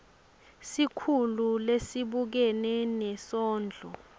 sikhulu lesibukene nesondlo